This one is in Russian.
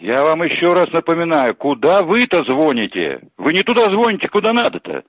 я вам ещё раз напоминаю куда вы то звоните вы не туда звоните куда надо то